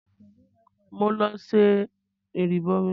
Mò ń lọ ṣẹ ìrìbọmi.